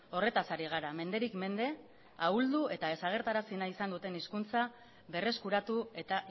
horretaz ari gara menderik mende ahuldu eta desagertarazi nahi izan duten hizkuntza berreskuratu eta